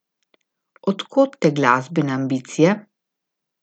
Od kod te glasbene ambicije?